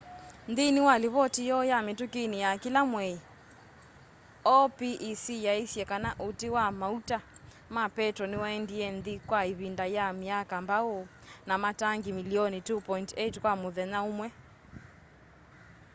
nthĩnĩ wa livoti yoo ya mĩtũkĩnĩ ya kĩla mwei opec yaisye kana ũti wa maũta ma petro nĩwaendĩe nthĩ kwa ivinda ya myaka mbaũ na matangĩ mĩlĩonĩ 2.8 kwa mũthenya ũmwe